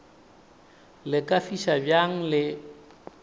le ka fiša bjang le